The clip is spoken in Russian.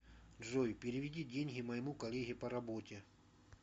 джой переведи деньги моему коллеге по работе